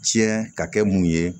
Tiɲɛ ka kɛ mun ye